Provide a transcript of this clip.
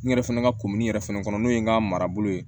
N yɛrɛ fɛnɛ ka kumuni yɛrɛ fɛnɛ kɔnɔ n'o ye n ka marabolo ye